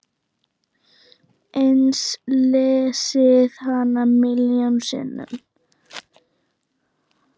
Ég lesið hana milljón sinnum.